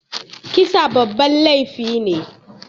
Kisa babban laifi ne